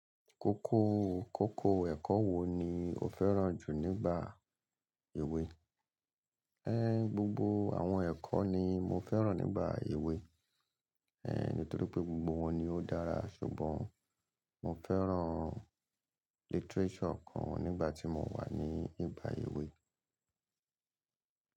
Kókó, kókó ẹ̀kọ́ wo ni o fẹ́ràn jù nígbà èwe? Gbogbo àwọn ẹ̀kọ́ ni mo fẹ́ràn nígbà èwe, nítorí pé gbogbo wọn ni ó dára ṣùgbọ́n mo fẹ́ràn literature kan nígbà tí mo wà ní nigbà èwe.